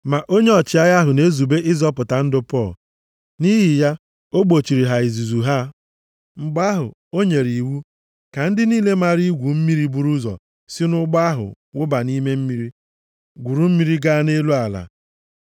Ma onye ọchịagha ahụ na-ezube ịzọpụta ndụ Pọl, nʼihi ya, o gbochiri ha nʼizuzu ha. Mgbe ahụ o nyere iwu ka ndị niile maara igwu mmiri buru ụzọ si nʼụgbọ ahụ wụba nʼime mmiri, gwuru mmiri gaa nʼelu ala.